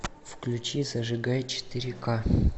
включи зажигай четыре ка